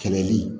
Kɛlɛli